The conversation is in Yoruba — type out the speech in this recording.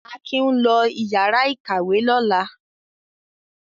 Akin ń lọ ìyàrá-ìkàwé lọ́la.